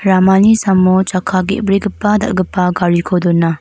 ramani samo chakka ge·brigipa dal·gipa gariko dona.